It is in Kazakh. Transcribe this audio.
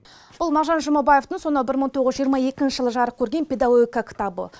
бұл мағжан жұмабаевтың сонау бір мың тоғыз жүз жиырма екінші жылы жарық көрген педагогика кітабы